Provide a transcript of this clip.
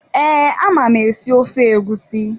Ee, ama m esi, esi ofe egusi.